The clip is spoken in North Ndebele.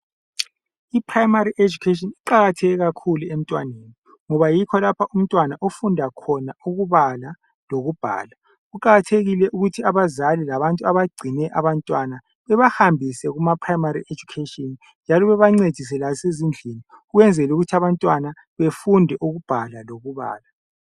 Iprimary education iqakatheke kakhulu emntwaneni ngoba yikho lapho umntwana ofunda khona ukubala lokubhala. Kuqakathekile ukuthi abazali labantu abagcine abantwana bebahambise kuprimary education njalo babancedise lasezindlini ukwenzela ukuthi abantwana bafunde ukubhala lokubala.